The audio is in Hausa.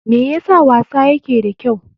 Me yasa wasa yake da kyau?